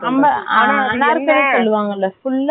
இல்லை.கொடுக்க கூடாது .